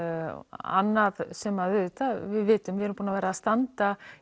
annað sem við auðvitað vitum við erum búin að vera að standa